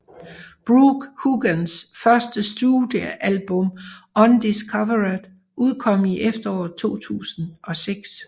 Brooke Hogans første studiealbum Undiscovered udkom i efteråret 2006